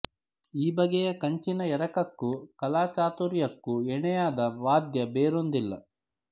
ಈ ಬಗೆಯ ಕಂಚಿನ ಎರಕಕ್ಕೂ ಕಲಾಚಾತುರ್ಯಕ್ಕೂ ಎಣೆಯಾದ ವಾದ್ಯ ಬೇರೊಂದಿಲ್ಲ